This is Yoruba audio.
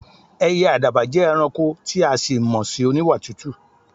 È̩yè̩ àdàbà jé̩ e̩ranko tí a sì máa mo̩ sí oníwà tútù.